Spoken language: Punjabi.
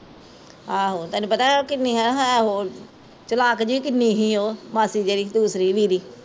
ਆਹੋ ਤੈਨੂ ਪਤਾ ਐ ਕਿੰਨੀ ਓਹ ਹੈ ਚਲਾਕ ਜਹੀ ਕਿੰਨੀ ਸੀ ਓਹ ਮਾਸੀ ਜਿਹੜੀ ਦੂਸਰੀ